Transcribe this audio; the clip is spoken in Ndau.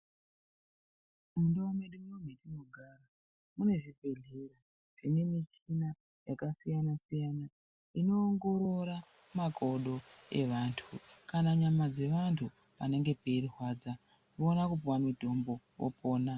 Mundau medu munomu metinogara, mune zvibhedhlera zvine michina yakasiyana-siyana, inoongorora makodo evantu, kana nyama dzevantu panenge peirwadza oona kupuwa mutombo opona.